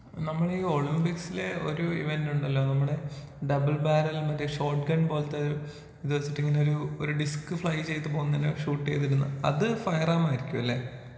നമ്മള് ഈ ഒളിമ്പിക്സില് ഒരു ഇവന്റ് ഉണ്ടല്ലോ നമ്മുടെ ഡബിൾ ബാരെൽ മറ്റേ ഷോട്ട് ഗൺ പോലത്തെ ഇത് വെച്ചിട്ട് ഇങ്ങനെ ഒരൂ ഒരു ഡിസ്ക് ഫ്ലൈ ചെയ്ത് പോകുന്ന പോലെ ഷൂട്ട് ചെയ്തിരുന്ന അത് ഫയർ ആർമായിരിക്കുമല്ലേ?